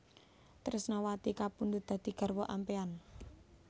Tresnawati kapundhut dadi garwa ampéyan